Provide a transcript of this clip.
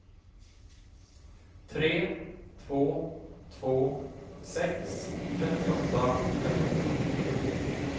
tre två två sex trettioåtta femhundrafyrtiotre